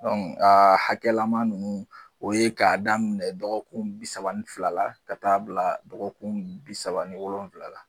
Ɔ a hakɛlama ninnu o ye k'a daminɛ dɔgɔkun bisaba ni fila la ka t'a bila dɔgɔkun bi saba ni wolonwula la